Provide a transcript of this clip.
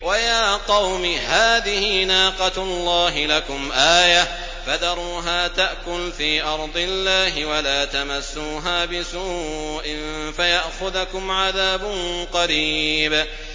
وَيَا قَوْمِ هَٰذِهِ نَاقَةُ اللَّهِ لَكُمْ آيَةً فَذَرُوهَا تَأْكُلْ فِي أَرْضِ اللَّهِ وَلَا تَمَسُّوهَا بِسُوءٍ فَيَأْخُذَكُمْ عَذَابٌ قَرِيبٌ